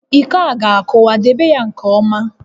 Iko a ga-akụwa, debe ya nke ọma!